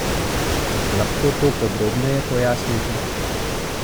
Lahko to podrobneje pojasnite?